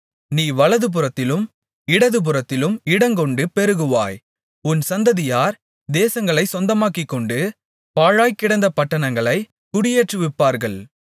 நீ வலதுபுறத்திலும் இடதுபுறத்திலும் இடங்கொண்டு பெருகுவாய் உன் சந்ததியார் தேசங்களைச் சொந்தமாக்கிக்கொண்டு பாழாய்க்கிடந்த பட்டணங்களைக் குடியேற்றுவிப்பார்கள்